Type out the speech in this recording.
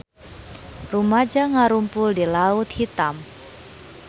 Rumaja ngarumpul di Laut Hitam